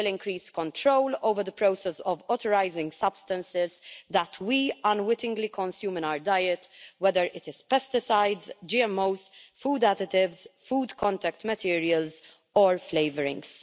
This will increase control over the process of authorising substances that we unwittingly consume in our diet, whether these be pesticides, GMOs, food additives, food contact materials or flavourings.